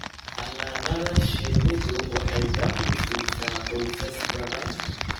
Xannaanada shinnidu waxay dakhli siisaa qoysas badan.